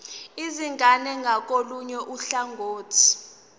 izingane ngakolunye uhlangothi